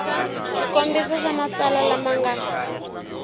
swikombiso swa matsalwa lama nga